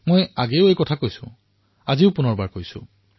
মই পূৰ্বতেও কৈছিল এতিয়াও নিশ্চয়কৈ কও